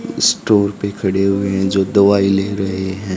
Store पे खड़े हुए हैं जो दवाई ले रहे हैं।